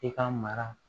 I ka mara